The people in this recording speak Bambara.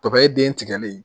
Papaye den tigɛlen